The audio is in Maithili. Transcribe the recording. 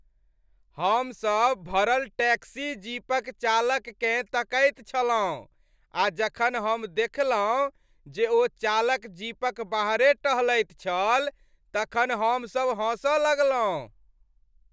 हमसभ भरल टैक्सी जीपक चालककेँ तकैत छलहुँ आ जखन हम देखलहुँ जे ओ चालक जीपक बाहरे टहलैत छल तखन हमसभ हँसऽ लगलहुँ ।